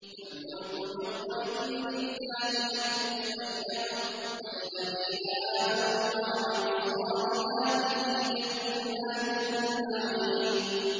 الْمُلْكُ يَوْمَئِذٍ لِّلَّهِ يَحْكُمُ بَيْنَهُمْ ۚ فَالَّذِينَ آمَنُوا وَعَمِلُوا الصَّالِحَاتِ فِي جَنَّاتِ النَّعِيمِ